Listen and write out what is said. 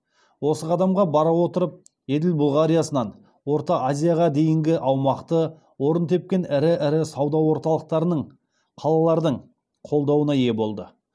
осы қадамға бара отырып еділ бұлғариясынан орта азияға бейінгі аумақты орын тепкен ірі ірі сауда орталықтарының қалалардың қолдауына ие болды